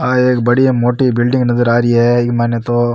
आ एक बढ़िया मोटी बिल्डिंग नजर आ रही है इक मायने तो --